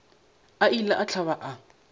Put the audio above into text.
a ile a hlaba a